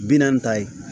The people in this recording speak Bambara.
Bi naani ta ye